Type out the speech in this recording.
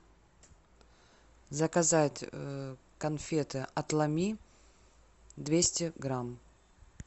заказать конфеты отломи двести грамм